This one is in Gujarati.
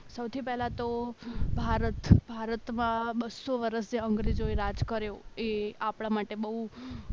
સૌથી પહેલા તો ભારત ભારતમાં બસો વર્ષ જ્યાં અંગ્રેજોએ રાજ કર્યું એ આપણા માટે બહુ